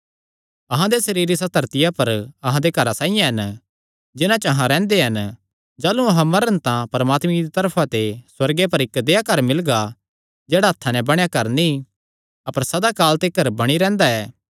अहां दे सरीर इसा धरतिया पर अहां दे घरां साइआं हन जिन्हां च अहां रैंह्दे हन जाह़लू अहां मरन तां परमात्मे दी तरफा ते सुअर्गे पर इक्क देहया घर मिलगा जेह्ड़ा हत्थां नैं बणेया घर नीं अपर सदा काल तिकर बणी रैंह्दा ऐ